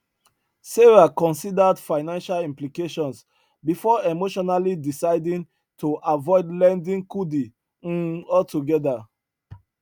sarah considered financial implications before emotionally deciding to avoid lending kudi um altogether